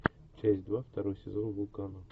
часть два второй сезон вулкана